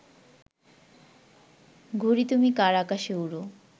ঘুড়ি তুমি কার আকাশে উড়ো